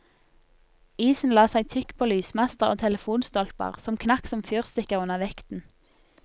Isen la seg tykk på lysmaster og telefonstolper, som knakk som fyrstikker under vekten.